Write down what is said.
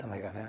Tomei café.